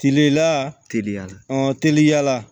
Teliya teliyala teliyala